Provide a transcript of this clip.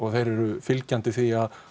þeir eru fylgjandi því að